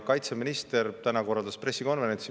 Kaitseminister korraldas täna pressikonverentsi.